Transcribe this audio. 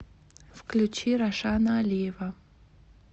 включи рашана алиева